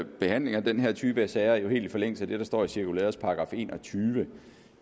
behandlingen af den her type af sager jo helt i forlængelse af det der står i cirkulærets § enogtyvende